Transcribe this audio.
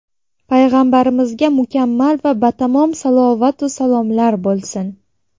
Payg‘ambarimizga mukammal va batamom salavot-u salomlar bo‘lsin.